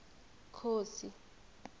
khosi